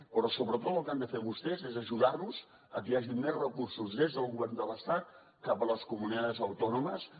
però sobretot el que han de fer vostès és ajudar nos a que hi hagi més recursos des del govern de l’estat cap a les comunidades autónomas